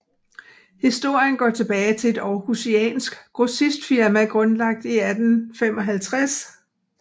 Historien går tilbage til et århusiansk grossistfirma grundlagt i 1855